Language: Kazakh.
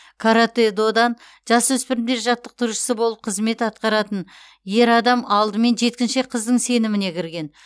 каратэ додан жасөспірімдер жаттықтырушысы болып қызмет атқаратын ер адам алдымен жеткіншек қыздың сеніміне кірген